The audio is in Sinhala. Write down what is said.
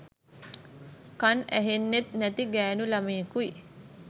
කන් ඇහෙන්නෙත් නැති ගෑනු ළමයෙකුයි